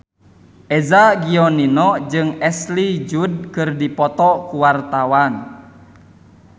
Eza Gionino jeung Ashley Judd keur dipoto ku wartawan